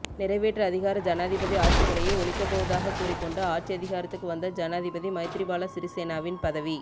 நிறைவேற்று அதிகார ஜனாதிபதி ஆட்சிமுறையை ஒழிக்கப்போவதாக கூறிக்கொண்டு ஆட்சியதிகாரத்துக்கு வந்த ஜனாதிபதி மைத்திரிபால சிறிசேனவின் பதவி